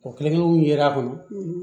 O kelen yera a kɔnɔ